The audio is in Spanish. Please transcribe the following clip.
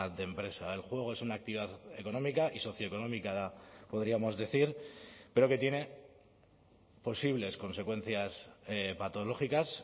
de empresa el juego es una actividad económica y socioeconómica podríamos decir pero que tiene posibles consecuencias patológicas